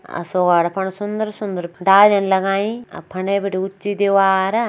और सगोड़ा पण सुन्दर-सुन्दर ड़ालयां लगायीं और फने भीटी ऊँची दीवार --